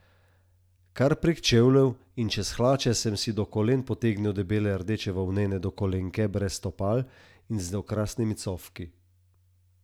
Kar prek čevljev in čez hlače sem si do kolen potegnil debele rdeče volnene dokolenke brez stopal in z okrasnimi cofki.